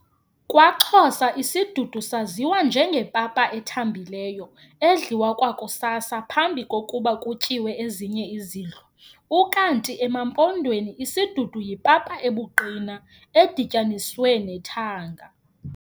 KwaXhosa isidudu saziwa njengepapa ethambileyo, edliwa kwakusasa, phambi kokuba kutyiwe ezinye izidlo. ukanti emaMpondweni, isidudu yipapa ebuqina edityaniswe nethanga.